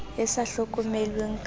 e sa hlokomelweng ka ho